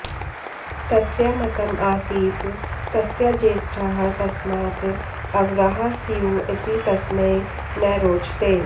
तस्य मतम् आसीत् तस्य ज्येष्ठाः तस्मात् अवराः स्युः इति तस्मै न रोचते